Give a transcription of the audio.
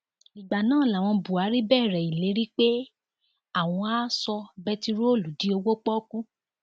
ìgbà náà làwọn buhari bẹrẹ ìlérí pé àwọn àá sọ bẹntiróòlù di òwò pọọkú